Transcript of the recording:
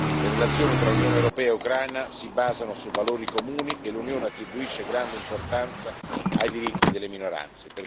Le relazioni tra Unione europea e Ucraina si basano su valori comuni e l'Unione attribuisce grande importanza ai diritti delle minoranze.